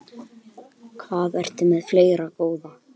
Hvað ertu með fleira, góða?